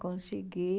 Consegui.